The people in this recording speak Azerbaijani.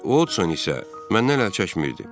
Miss Odson isə məndən əl çəkmirdi.